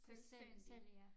Selv selv ja